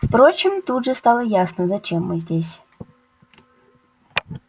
впрочем тут же стало ясно зачем мы здесь